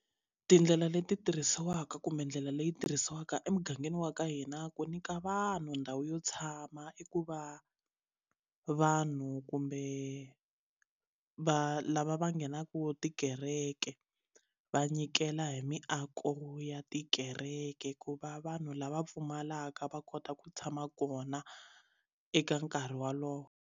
Tindlela leti tirhisiwaka kumbe ndlela leyi tirhisiwaka emugangeni wa ka hina ku nyika vanhu ndhawu yo tshama i ku va vanhu kumbe va lava va nghenaka tikereke va nyikela hi miako ya tikereke ku va vanhu lava pfumalaka va kota ku tshama kona eka nkarhi walowo.